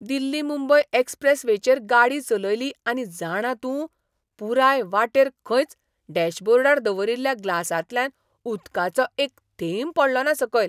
दिल्ली मुंबय एक्स्प्रेसवेचेर गाडी चलयली आनी जाणा तूं, पुराय वाटेर खंयच डॅशबोर्डार दवरिल्ल्या ग्लासांतल्यान उदकाचो एक थेंब पडलोना सकयल!